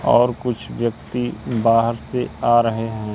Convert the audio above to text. और कुछ व्यक्ति बाहर से आ रहें हैं।